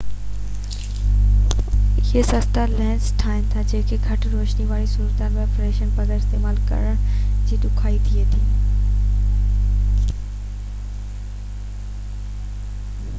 اهي سستا لينس ٺاهين ٿا جيڪي گهٽ روشني واري صورتحال ۾ فليش بغير استعمال ڪرڻ ۾ ڏکيائي ٿئي ٿي